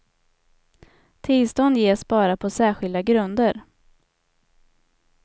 Tillstånd ges bara på särskilda grunder.